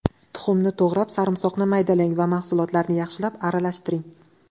Tuxumni to‘g‘rab, sarimsoqni maydalang va mahsulotlarni yaxshilab aralashtiring.